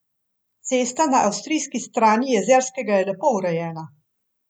Cesta na avstrijski strani Jezerskega je lepo urejena.